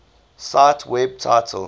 cite web title